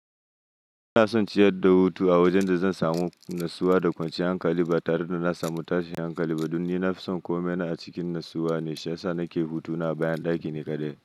Ina son ciyar da hutu a wajen da zan samu natsuwa da kwanciyar hankali, ba tare da na samu tashin hankali ba, don ni na fi son komai na a cikin natsuwa ne, shiyasa na ke hutu na bayan ɗaki ni kaɗai.